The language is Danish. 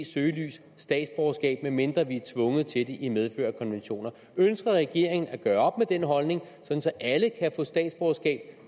søgelys statsborgerskab medmindre vi er tvunget til det i medfør af konventioner ønsker regeringen at gøre op med den holdning sådan at alle kan få statsborgerskab